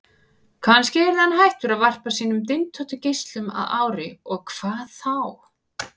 Kannski yrði hann hættur að varpa sínum dyntóttu geislum að ári, og hvað þá?